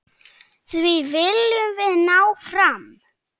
Því viljum við ná fram.